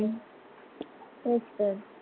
तेच तर.